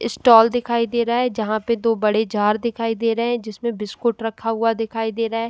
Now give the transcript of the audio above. Stall दिखाई दे रहे हैं जहां पर दो बड़े जार दिखाई दे रहे हैं जिसमें बिस्कुट रखा हुआ दिखाई दे रहा है।